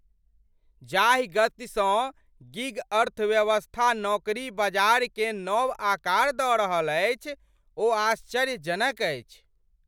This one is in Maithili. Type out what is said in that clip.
जाहि गतिसँ गिग अर्थव्यवस्था नौकरी बाजारकेँ नव आकार दऽ रहल अछि ओ आश्चर्यजनक अछि।